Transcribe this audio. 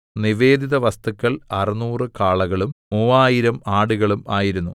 നിവേദിത വസ്തുക്കൾ അറുനൂറു കാളകളും മൂവായിരം ആടുകളും ആയിരുന്നു